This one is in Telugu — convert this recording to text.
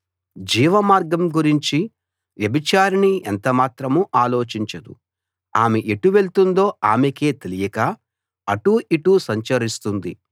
జీవమార్గం గురించి వ్యభిచారిణి ఎంతమాత్రం ఆలోచించదు ఆమె ఎటు వెళ్తుందో ఆమెకే తెలియక అటూ ఇటూ సంచరిస్తుంది